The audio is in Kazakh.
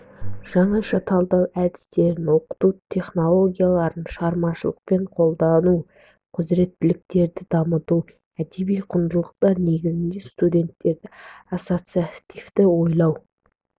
жаңаша талдау әдістерін оқыту технологияларын шығармашылықпен қолдану құзіреттіліктерін дамыту әдеби құндылықтар негізінде студенттердің ассоциативті ойлау